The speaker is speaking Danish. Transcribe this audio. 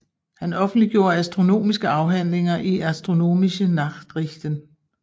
Han offentliggjorde astronomiske afhandlinger i Astronomische Nachrichten